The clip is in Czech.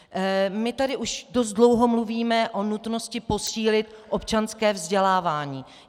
My tady už dost dlouho mluvíme o nutnosti posílit občanské vzdělávání.